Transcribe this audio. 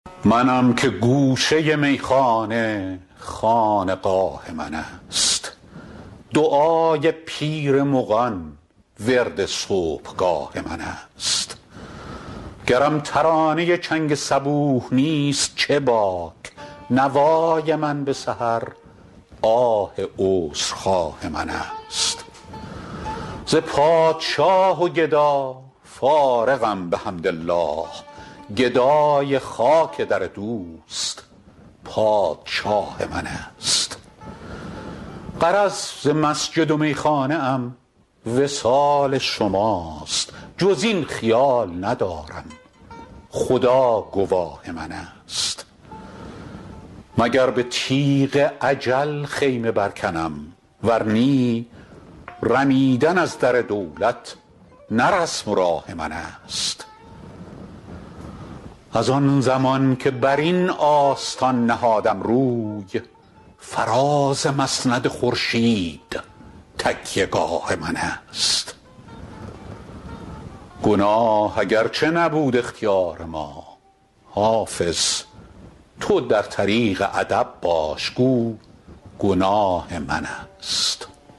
منم که گوشه میخانه خانقاه من است دعای پیر مغان ورد صبحگاه من است گرم ترانه چنگ صبوح نیست چه باک نوای من به سحر آه عذرخواه من است ز پادشاه و گدا فارغم بحمدالله گدای خاک در دوست پادشاه من است غرض ز مسجد و میخانه ام وصال شماست جز این خیال ندارم خدا گواه من است مگر به تیغ اجل خیمه برکنم ور نی رمیدن از در دولت نه رسم و راه من است از آن زمان که بر این آستان نهادم روی فراز مسند خورشید تکیه گاه من است گناه اگرچه نبود اختیار ما حافظ تو در طریق ادب باش گو گناه من است